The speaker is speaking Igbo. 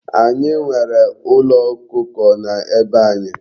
Anyi nwere Ulo Okuko na be anyi